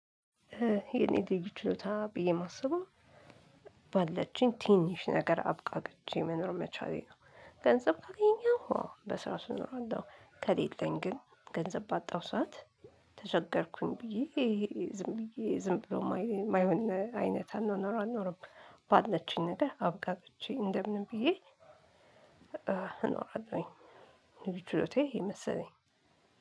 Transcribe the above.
የኔ ድርጅት ችሎታ ብዬ ማስበው ባለችኝ ትንሽ ነገር አብቃቅቼ መኖር መቻሌ ነው። ገንዘብ ካገኘሁ አዎ በስራው ስኖር አለው። ከሌለኝ ግን ገንዘብ ባጣሁ ሰዓት ተቸገርኩኝ ብዬ ዝም ብዬ ዝም ብሎ የማይሆን አይነት አኗኗርም ባለችኝ ነገር አብቃቅቸ እንደምን ብዬ እኖራለሁኝ ችሎቴ ይሄ መሰለኝ።